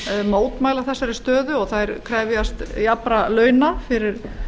mótmæla þessari stöðu og þær krefjast jafnra launa fyrir